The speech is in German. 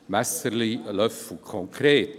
Messerli/Löffel .